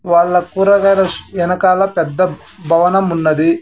వాళ్ళ కూరగాయల వెనకాల పెద్ద భవనం ఉన్నది.